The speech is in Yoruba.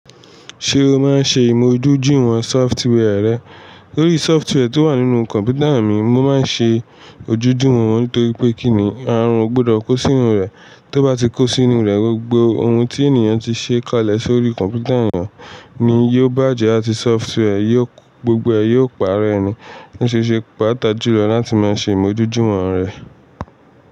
Sé o máa ṣe ìmúdójúìwọ̀n software re. Lórí software tó wà nínú kọ̀mpútà mi, mo máa ń ṣe ojúdùmò wọn nítorí pé kíni àrùn ò gbọdọ̀ kó sínú rẹ̀. Tó bá ti kó sínú rẹ̀, gbogbo ohun tí ènìyàn ti ṣe kalẹ̀ sórí kọ̀mpútà èèyàn ni yóò bàjẹ́ àti software yóò, gbogbo ẹ̀ yóò paré ni ní ṣe ṣe pàtàkì jùlọ láti máa ṣe ìmójúdùwòn rẹ̀.